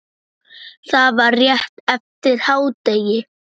Það var rétt eftir hádegi.